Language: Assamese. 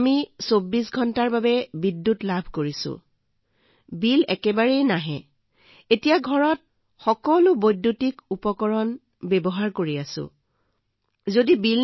আমি দিনে ২৪ ঘণ্টাই বিদ্যুৎ লাভ কৰি আছোঁ কোনো বিল নাই আমাৰ ঘৰত আমি সকলো বৈদ্যুতিক সঁজুলি ঘৰলৈ আনিছো ছাৰ আমি সকলো ব্যৱহাৰ কৰি আছো আপোনাৰ কাৰণে ছাৰ